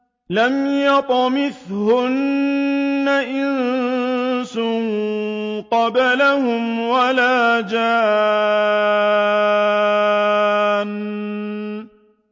لَمْ يَطْمِثْهُنَّ إِنسٌ قَبْلَهُمْ وَلَا جَانٌّ